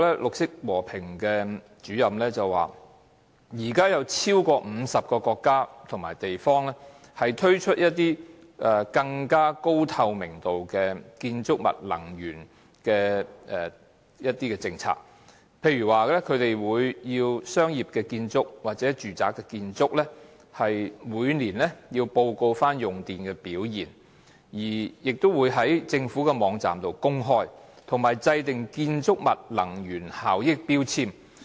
綠色和平項目主任楊文友表示，現時超過50個國家及地方推出了高透明度的建築物能源政策，例如規定商業或住宅建築物每年須報告用電表現，在政府的網站公布，同時亦制訂建築物能源標籤。